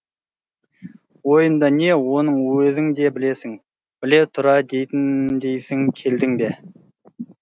ойымда не оны өзің де білесің біле тұра дейтіндейсің келдің бе